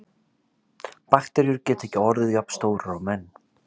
Bakteríur geta ekki orðið jafnstórar og menn.